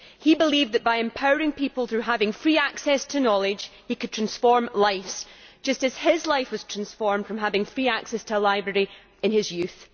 He believed that by empowering people through giving them free access to knowledge, he could transform lives, just as his life was transformed by having free access to a library in his youth.